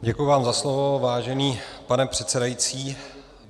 Děkuji vám za slovo, vážený pane předsedající.